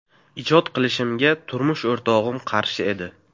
Ijod qilishimga turmush o‘rtog‘im qarshi edi.